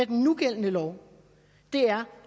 den nugældende lov er